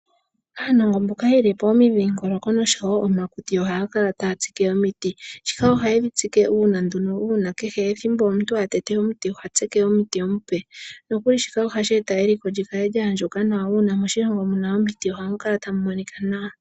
Aanongontu mboka ye li pomidhingoloko oshowo omakuti oha ya kala taya tsike omiti shika oha ye dhi tsike uuna kehe ethimbo omuntu a tete omuti oha tsike omuti omupe noha shi eta eliko li kale lya andjuka nawa uuna moshilongo mu na omiti ohamu kala tamu monika nawa.